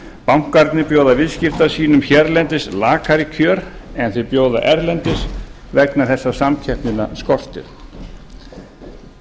bankarnir bjóða viðskiptavinum sínum hérlendis lakari kjör en þeir bjóða erlendis vegna þess að samkeppnina skortir það